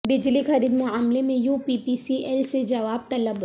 بجلی خرید معاملہ میں U P P C L سے جواب طلب